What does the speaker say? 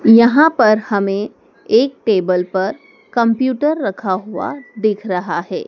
यहां पर हमें एक टेबल पर कम्प्यूटर रखा हुआ दिख रहा है।